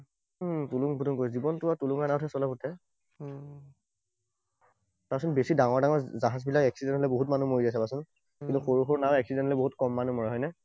তুলুং ভুতুং কৰি, জীৱনটো আৰু তুলুঙা নাৱতহে চলাই সোঁতে। চাবাচোন, বেছি ডাঙৰ ডাঙৰ জাহাজবিলাক accident হলে বহুত মানুহ মৰি যায় চাবাচোন। কিন্তু সৰু সৰু নাও accident হলে বহুত ক মানুহ মৰে, হয়নে?